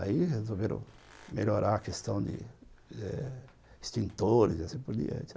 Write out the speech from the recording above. Aí resolveram melhorar a questão de eh extintores e assim por diante.